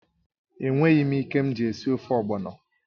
È nweghị ike mji esi ofe ogbọno